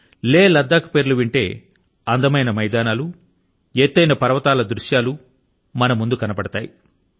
లేహ్ మరియు లద్దాఖ్ ల పేర్లు వింటే అందమైన మైదానాలు ఎత్తైన పర్వతాల దృశ్యాలు మన ముందు కనబడతాయి